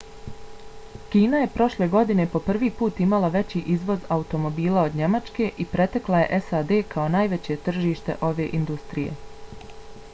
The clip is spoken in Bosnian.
kina je prošle godine po prvi put imala veći izvoz automobila od njemačke i pretekla je sad kao najveće tržište ove industrije